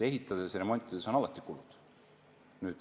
Ehitades ja remontides on alati kulud.